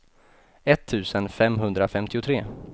etttusen femhundrafemtiotre